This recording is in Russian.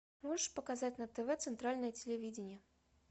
можешь показать на тв центральное телевидение